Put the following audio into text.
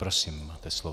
Prosím, máte slovo.